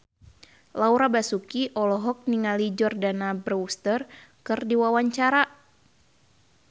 Laura Basuki olohok ningali Jordana Brewster keur diwawancara